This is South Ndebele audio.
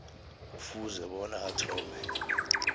kufuze bona athome